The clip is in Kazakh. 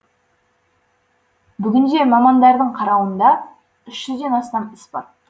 бүгінде мамандардың қарауында үш жүзден астам іс бар